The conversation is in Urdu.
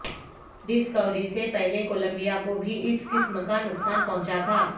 ڈسکوری سے پہلے کولمبیا کو بھی اس قسم کا نقصان پہنچا تھا